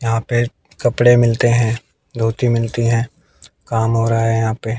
यहां पे कपड़े मिलते हैं धोती मिलती हैं काम हो रहा हैं यहां पे।